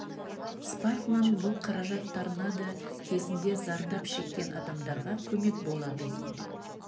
спаркман бұл қаражат торнадо кезінде зардап шеккен адамдарға көмек болады дейді